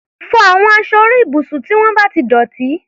Fọ àwọn aṣọ orí ibùsùn tí wọ́n bá ti dọ̀tí!